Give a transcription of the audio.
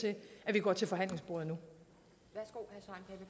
vi går til forhandlingsbordet